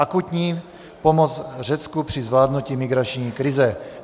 Akutní pomoc Řecku při zvládnutí migrační krize.